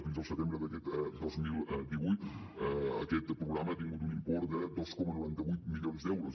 fins al setembre d’aquest dos mil divuit aquest programa ha tingut un import de dos coma noranta vuit milions d’euros